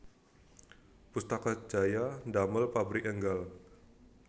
Pustaka Jaya ndamel pabrik enggal